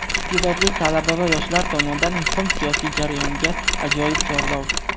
Isteʼdodli talaba va yoshlar tomonidan muhim siyosiy jarayonga ajoyib chorlov.